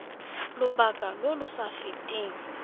lobaka lo lo sa feteng